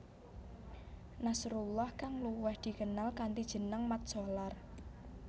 Nasrullah kang luwih dikenal kanthi jeneng Mat Solar